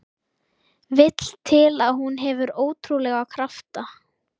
Vill til að hún hefur ótrúlega krafta.